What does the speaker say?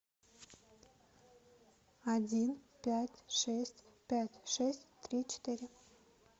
один пять шесть пять шесть три четыре